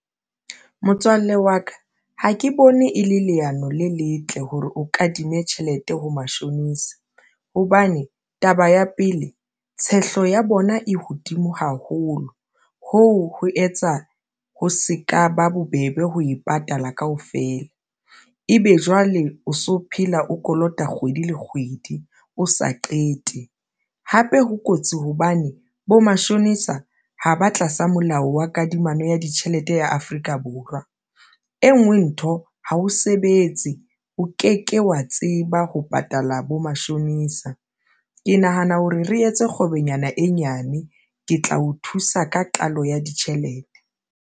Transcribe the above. Motswalle wa ka ha ke bone e le leano le letle hore o kadime tjhelete ho mashonisa hobane taba ya pele tshehlo ya bona e hodimo haholo hoo ho etsa ho se ka ba bobebe ho e patala kaofela, ebe jwale o so phela o kolota kgwedi le kgwedi, o sa qete hape ho kotsi hobane bo mashonisa ha ba tlasa molao wa kadimano ya ditjhelete ya Afrika Borwa, e nngwe ntho ha o sebetse, o ke ke wa tseba ho patala bo mashonisa. Ke nahana hore re etse kgwebonyana e nyane ke tla o thusa ka qalo ya ditjhelete.